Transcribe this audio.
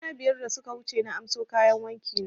Kwana biyar da suka wuce na anso kayan wanki na